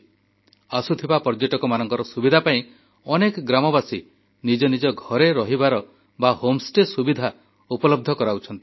ଏଠାକୁ ଆସୁଥିବା ପର୍ଯ୍ୟଟକମାନଙ୍କର ସୁବିଧା ପାଇଁ ଅନେକ ଗ୍ରାମବାସୀ ନିଜ ନିଜ ଘରେ ରହିବାର ବା ହୋମ ଷ୍ଟେ ସୁବିଧା ଉପଲବ୍ଧ କରାଉଛନ୍ତି